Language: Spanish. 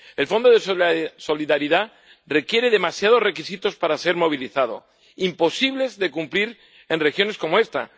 El Fondo de Solidaridad requiere demasiados requisitos para ser movilizado, imposibles de cumplir en regiones como esta.